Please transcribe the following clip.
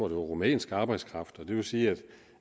rumænsk arbejdskraft og det vil sige